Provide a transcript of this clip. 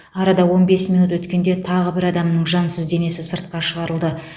арада он бес минут өткенде тағы бір адамның жансыз денесі сыртқа шығарылды